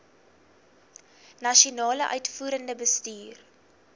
nasionale uitvoerende bestuur